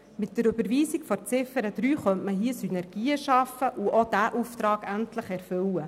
Mit der Überweisung von Ziffer 3 könnte man hier Synergien schaffen und auch diesen Auftrag endlich erfüllen.